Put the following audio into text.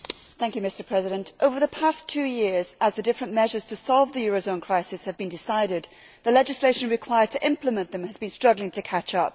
Mr President, over the past two years, as the different measures to solve the eurozone crisis have been decided, the legislation required to implement them has been struggling to catch up.